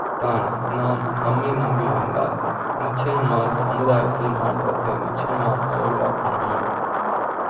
தான் நாம் நம்மை நம்பி இருந்தால் நிச்சயமாக சமுதாய த்தில் மாற்ற த்தை நிச்சய மா ஹால் வாக்க முடியும்